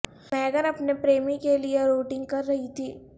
میگن اپنے پریمی کے لئے روٹنگ کر رہی تھی